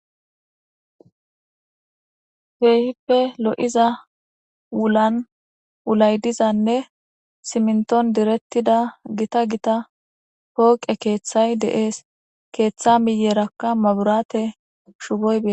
heehippe lo7iza wulan wulay dizanne siminton direttida gita gita pooqe keeththay deees keeththa miyerakka maburaate shuboy bee